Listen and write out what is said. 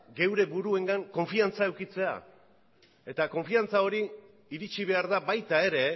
geure buruengan konfidantza edukitzea eta konfidantza hori iritsi behar da baita ere